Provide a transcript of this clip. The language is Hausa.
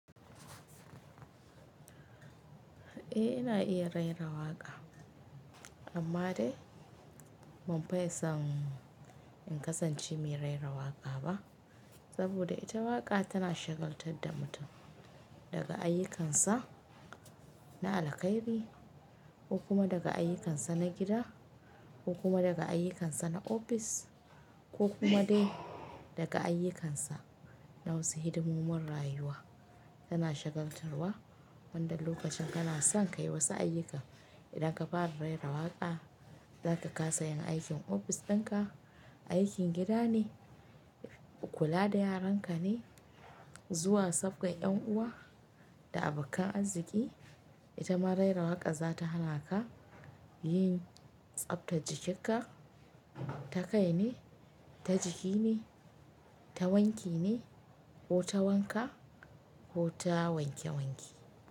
Eh ina iya raini rawaƙa amma dai ban fi son in kasance mai raini rawaƙa ba saboda ita waƙa tana shagaltar da mutum daga ayyukansa na alaƙaibi ko kuma daga ayyukansa na gida ko kuma daga ayyukansa na ofis ko kuma dai daga ayyukansa na wasu hidimomin rayuwa tana shagaltarwa wanda lokacin kana son ka yi wasu ayyuka idan ka fara raini rawaƙa zaka kasa yin aikin ofis dinka, aikin gida ne, kula da yaran ka ne, zuwa safgan yan uwa da abokan arziki, ita ma raini rawaƙa za ta hana ka yin tsabtar jikin ka, ta kai ne, ta jiki ne, ta wanki ne ko ta wanka ko ta wanke wanke.